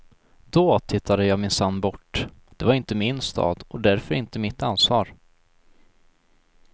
Då tittade jag minsann bort, det var inte min stad och därför inte mitt ansvar.